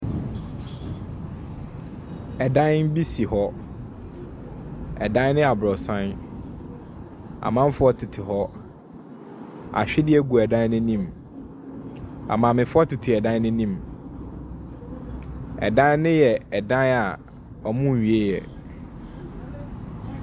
Ɛdan bi si hɔ. Ɛdan no yɛ aborɔsan. Amanfoɔ tete hɔ, ahwedeɛ gu ɛdan no anim. Amaamefoɔ tete ɛdan no anim. Ɛdan no yɛ ɛdan a ɔmo nwieɛ.